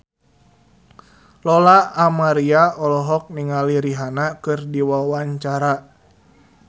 Lola Amaria olohok ningali Rihanna keur diwawancara